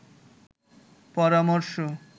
পরামর্শ